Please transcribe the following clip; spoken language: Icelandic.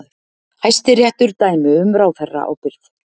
Hæstiréttur dæmi um ráðherraábyrgð